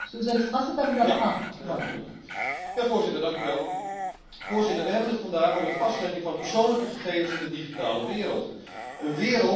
Voorzitter, wij hebben het vandaag over de vastlegging van persoonlijke gegevens in de digitale wereld, een wereld die steeds meer het leven van alledag bepaalt.